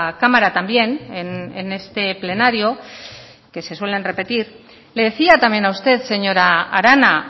cámara también en este plenario que se suelen repetir le decía también a usted señora arana